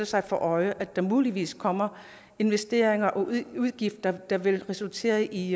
sig for øje at der muligvis kommer investeringer og udgifter der vil resultere i